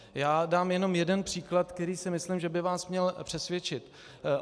Já dám jenom jeden příklad, který si myslím, že by vás měl přesvědčit.